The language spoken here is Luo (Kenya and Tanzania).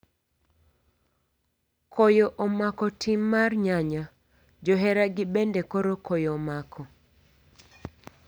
Koyo omako tim mar nyanya ,johera gi bende koro koyo omako.